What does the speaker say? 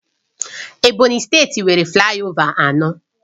Ebonyi steeti nwere flayova anọ